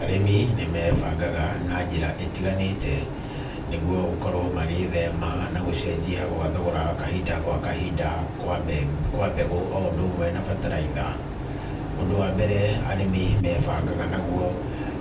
Arĩmi nĩ mebangaga na njĩra ĩtiganĩte nĩgũo gũkorwo magĩthema na gũcenjia gwa thogora kahinda gwa kahinda, kwa mbegũ o ũndũ ũmwe na bataraitha. Ũndũ wa mbere arĩmi mebangaga naguo